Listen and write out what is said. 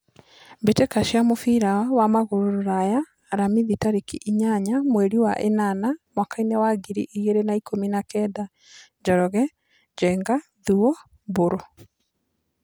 Mbĩtĩka cia mũbira wa magũrũ Ruraya Aramithi tarĩki inyanya mweri wa ĩnana mwakainĩ wa ngiri igĩrĩ na ikũmi na kenda : Njoroge, Njenga, Thuo, Mburu.